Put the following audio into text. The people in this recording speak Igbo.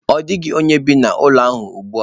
Ọ dịghị onye bi n'ụlọ a ugbu a.